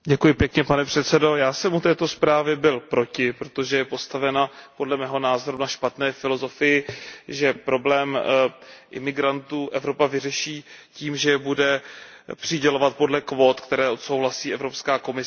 Pane předsedající, já jsem u této zprávy byl proti, protože je postavena podle mého názoru na špatné filozofii, že problém migrantů Evropa vyřeší tím, že je bude přidělovat podle kvót, které odsouhlasí Evropská komise.